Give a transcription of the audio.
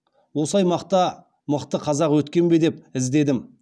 осы аймақта мықты қазақ өткен бе деп іздедім